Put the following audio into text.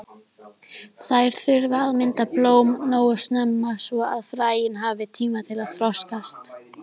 Þær þurfa að mynda blóm nógu snemma svo að fræin hafi tíma til að þroskast.